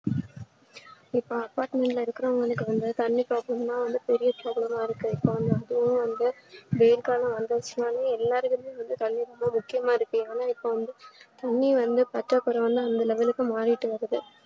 இப்ப apartment ல இருக்கறவங்களுக்கு வந்து தண்ண problem தா பெரிய problem ஆ இருக்கு இப்ப வந்து வந்து வெயில் காலம் வந்துரிச்சினாலே எல்லாருக்குமே தண்ணீ ரொம்ப முக்கியமா இருக்கு ஆனா இப்பவந்து இன்னும் வந்து பத்தாகுற வந்து அந்த level லுக்கு மாறிட்டு வருது